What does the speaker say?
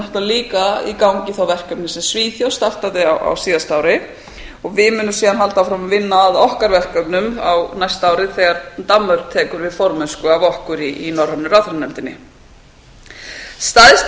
náttúrlega líka í gangi verkefni sem svíþjóð startaði á síðasta ári og við munum síðan halda áfram að vinna að okkar verkefnum á næsta ári þegar danmörk tekur við formennsku af okkur í norrænu ráðherranefndarinnar stærsta